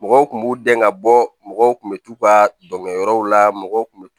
Mɔgɔw kun b'u dɛn ka bɔ mɔgɔw kun bɛ t'u ka dɔnkɛyɔrɔw la mɔgɔw kun bɛ